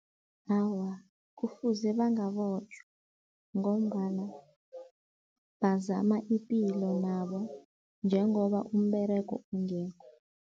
Awa, kufuze bangabotjhwa ngombana bazama ipilo nabo, njengoba umberego ungekho.